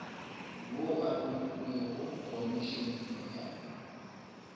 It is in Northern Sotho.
wo a romelwe khomišeneng ya